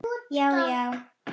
Já já.